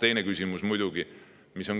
Teine küsimus, mida